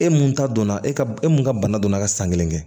E mun ta donna e ka e mun ka bana donna ka san kelen kɛ